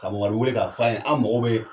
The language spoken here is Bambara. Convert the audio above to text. Ka mamadu weele k'a f' ɔ ye an mago be